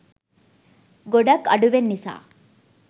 ගොඩක් අඩුවෙන් නිසා.